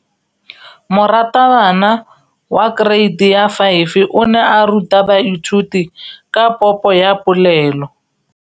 Moratabana wa kereiti ya 5 o ne a ruta baithuti ka popô ya polelô.